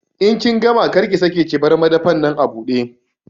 In kin gama, kar ki sake ki bar madafan nan abude!